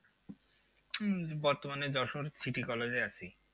উম বর্তমানে দর্শন city college এ আছি।